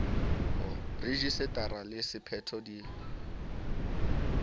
rejise tara le sephetho di